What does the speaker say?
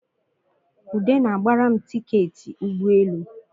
Ude na-gbara m tiketị ụgbọelu